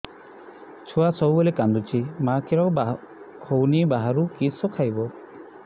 ଛୁଆ ସବୁବେଳେ କାନ୍ଦୁଚି ମା ଖିର ହଉନି ବାହାରୁ କିଷ ଖାଇବ